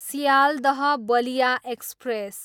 Sealdah Ballia express